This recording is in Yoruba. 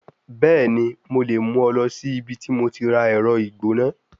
Bẹẹni, Mo le mu ọ lọ si ibiti mo ti ra ẹrọ igbona